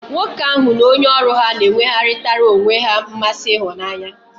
Nwoke ahu n'onye oru ha n'enwegharitara onwe he nmasi ihunanya